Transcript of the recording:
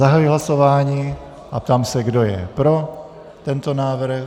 Zahajuji hlasování a ptám se, kdo je pro tento návrh.